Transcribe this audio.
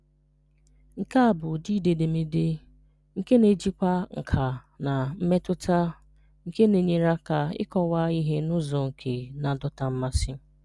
Nke a bụ ụdị ide edemede nke na-ejikwa nkà na mmetụtạ nke na-enyere aka ịkọwa ihe n’ụzọ nke na-adọta mmasị.